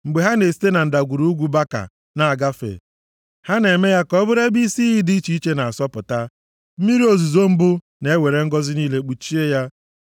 Mgbe ha na-esite na Ndagwurugwu Baka na-agafe, ha na-eme ya ka ọ bụrụ ebe isi iyi dị iche iche na-asọpụta; mmiri ozuzo mbụ na-ewere ngọzị niile kpuchie ya. + 84:6 Na-ewere ọdọ mmiri kpuchie ya